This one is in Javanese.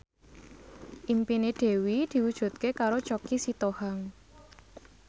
impine Dewi diwujudke karo Choky Sitohang